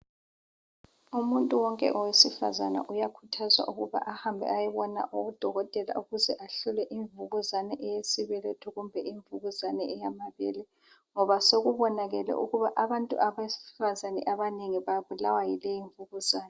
Umuntu wonke owesifazana uyakhuthazwa ukubana ahambe ayebona udokotela ukuze ahlolwe imvukuzane eyesibeletho kumbe imvukuzane eyamabele ngoba sekubonakele ukuba abantu besifazana abanengi babulawa yileyi imvukuzane.